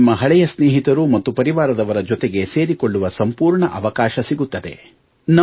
ನಿಮಗೆ ನಿಮ್ಮ ಹಳೆಯ ಸ್ನೇಹಿತರು ಮತ್ತು ಪರಿವಾರದವರ ಜೊತೆಗೆ ಸೇರಿಕೊಳ್ಳುವ ಸಂಪೂರ್ಣ ಅವಕಾಶ ಸಿಗುತ್ತದೆ